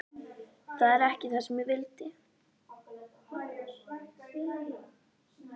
Þetta er ekki það sem ég vildi.